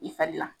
I fari la